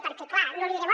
perquè clar no li diré